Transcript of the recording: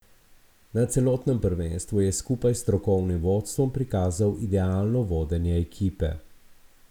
Na celotnem prvenstvu je skupaj s strokovnim vodstvom prikazal idealno vodenje ekipe.